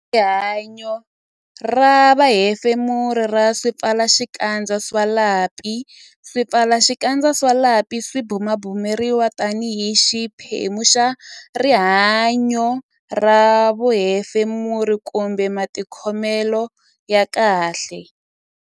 Rihanyo ra vuhefemuri ra swipfalaxikandza swa lapi Swipfalaxikandza swa lapi swi bumabumeriwa tanihi xiphemu xa rihanyo ra vuhefemuri kumbe matikhomelo ya kahle.